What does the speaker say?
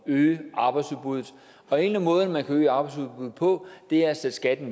øge arbejdsudbuddet og en af måderne man kan øge arbejdsudbuddet på er at sætte skatten